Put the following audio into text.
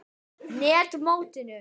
net mótinu?